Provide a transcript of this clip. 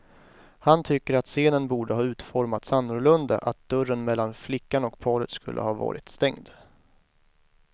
Han tycker att scenen borde ha utformats annorlunda, att dörren mellan flickan och paret skulle ha varit stängd.